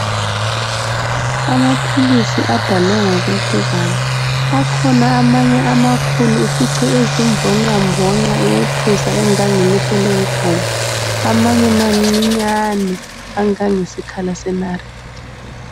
Amaphilisi adalwe ngokwehlukana. Akhona amanye amakhulu ufice ezimbonqambonqa eyethusa engangelihlo lenkomo, amanye mancinyane angangesikhala senariti.